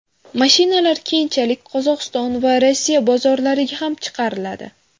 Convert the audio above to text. Mashinalar keyinchalik Qozog‘iston va Rossiya bozorlariga ham chiqariladi.